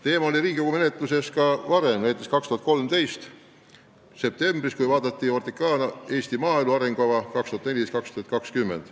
Teema on Riigikogus arutusel olnud ka varem, näiteks 2013. aasta septembris, kui OTRK-na käsitleti Eesti maaelu arengukava 2014–2020.